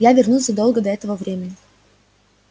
я вернусь задолго до этого времени